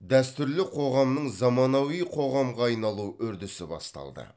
дәстүрлі қоғамның заманауи қоғамға айналу үрдісі басталды